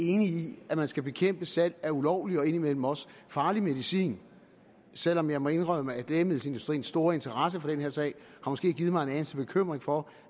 enige i at man skal bekæmpe salg af ulovlig og indimellem også farlig medicin selv om jeg må indrømme at lægemiddelindustriens store interesse for den her sag måske har givet mig en anelse bekymring for